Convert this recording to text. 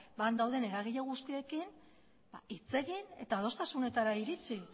han dauden eragile guztiekin hitz egin eta adostasunetara iritsi